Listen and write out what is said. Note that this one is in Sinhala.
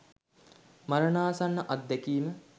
මරණාසන්න අත්දැකීම